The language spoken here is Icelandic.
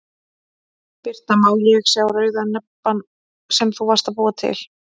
Birta: Má ég sá rauða nebbann sem þú varst að búa til?